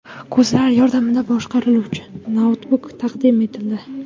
Ko‘zlar yordamida boshqariluvchi noutbuk taqdim etildi.